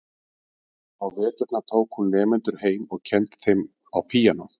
Á veturna tók hún nemendur heim og kenndi þeim á píanó.